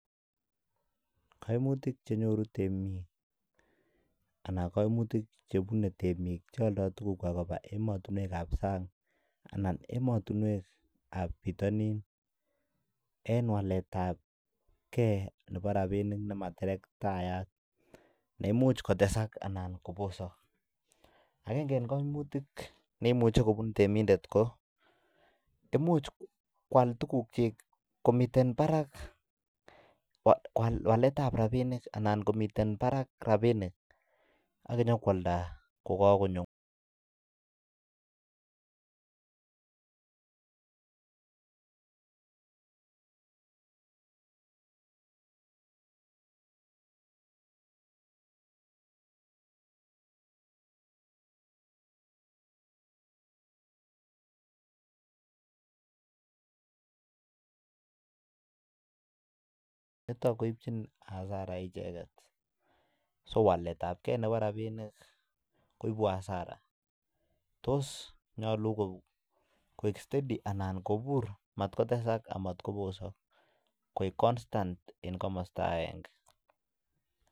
Kaimuyik chenyoru temik anan kaimuyik chebune temik cheyaldoi tuguk chwak en ematunwek ab anan ematunwek ab bitanin en walet ab gei Nebo rabinik nematerektayat neimuche kotesak anan kobosak agenge en kaimuyik neimuche kubun temindet ko imuch kwal tuguk chik komiten Barak walet ab rabinik akomiten Barak rabinik akonyo kwalda kokakonyo niton koibchin Asaram icheket so walet ab gei Nebo rabinik koibu Asara tos nyalu koik steady amatkotesak anan kobosak koik konstant en kamasta agenge